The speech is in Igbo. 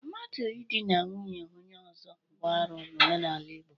Mmadụ idina nwunye onye ọzọ bụ arụ n'omenala Igbo.